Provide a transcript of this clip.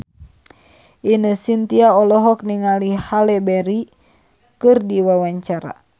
Ine Shintya olohok ningali Halle Berry keur diwawancara